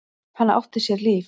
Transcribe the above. Hann átti sér líf.